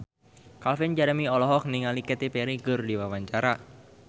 Calvin Jeremy olohok ningali Katy Perry keur diwawancara